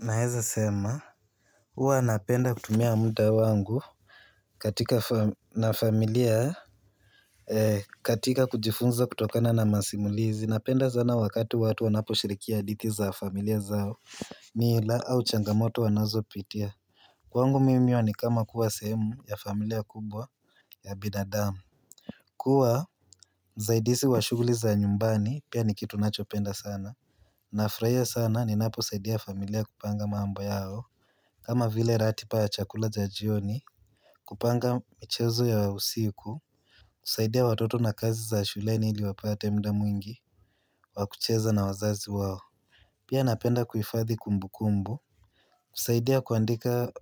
Na heza sema huwa napenda kutumia muda wangu. Katika na familia katika kujifunza kutokana na masimulizi napenda sana wakati watu wanapo shirikia hadithi za familia zao. Ni ila au changamoto wanazo pitia. Kwangu mimi hiyo ni kama kuwa semu ya familia kubwa ya binadamu. Kuwa msaidizi wa shuguli za nyumbani pia ni kitu nacho penda sana. Nafurahia sana ni naposaidia familia kupanga mambo yao. Kama vile ratiba ya chakula cha jioni kupanga michezo ya usiku kusaidia watoto na kazi za shuleni ili wapate muda mwingi wakucheza na wazazi wao. Pia napenda kuifadhi kumbukumbu. Kusaidia kuandika